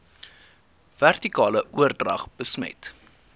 vertikale oordrag besmet